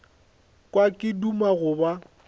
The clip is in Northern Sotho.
kwa ke duma go ba